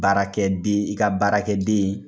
Baarakɛ den ika baarakɛ den ye